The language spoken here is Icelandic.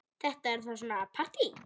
Þetta er þá svona partí!